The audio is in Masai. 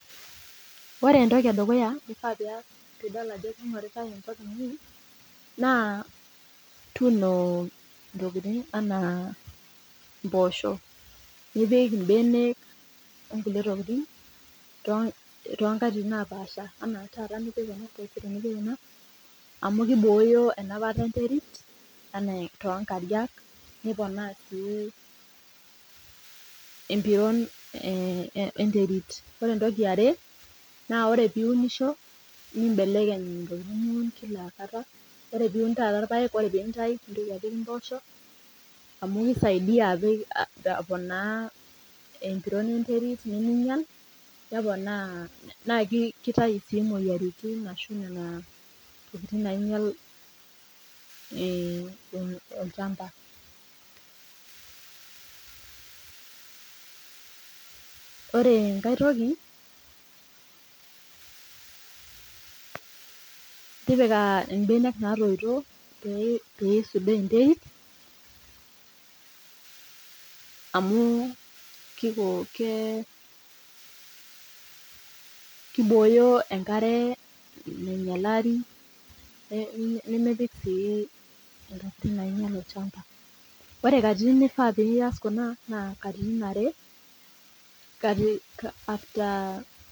Ore entoki edukuya nifaa pias piidol ajo keinguritai engop inyi naa tuuno enaa mboosho toongatitin naapaasha amu kibooyo enapata enterit enaa nkariak niponaa sii empiron enterit Ore eniarre naa ore piiunisho nimbelekeny intokiting niun amu kisaidia aponaa empiron enterit naa kitayu sii imoyiaritin ashu intokiting nainyal olchamba Ore enkae toki naa tipika imbenek naatouto amu keisudoo enterit amu kibooyo enkare nainyaleri naa ore katitin nifaa pias kuna naa katitin are